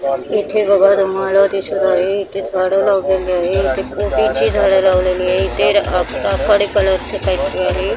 इथे भगवान दिसत आहे इथे झाडं लावलेली आहे. इथे झाडं लावलेली आहे इथे कलर च काहीतरी आहे.